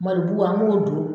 malo bu an b'o don